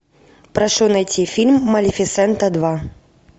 прошу найти фильм малефисента два